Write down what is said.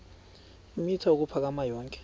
eemitha ukuphakama yonke